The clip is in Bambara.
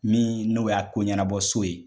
Min n'o y'a koɲɛnabɔ so ye.